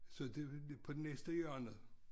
Så det det på det næste hjørne